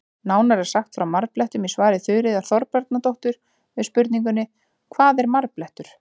Nánar er sagt frá marblettum í svari Þuríðar Þorbjarnardóttur við spurningunni Hvað er marblettur?